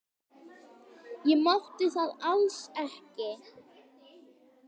Ég mátti það alls ekki.